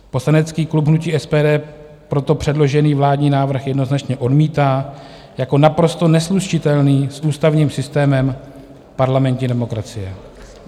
Poslanecký klub hnutí SPD proto předložený vládní návrh jednoznačně odmítá jako naprosto neslučitelný s ústavním systémem parlamentní demokracie.